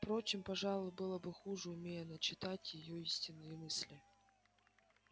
впрочем пожалуй было бы хуже умей она читать её истинные мысли